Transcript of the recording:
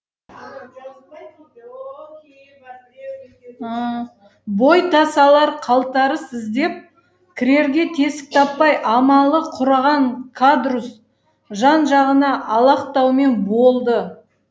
бой тасалар қалтарыс іздеп кірерге тесік таппай амалы құрыған кадрусс жан жағына алақтаумен болды